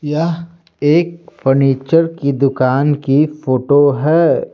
यह एक फर्नीचर की दुकान की फोटो है।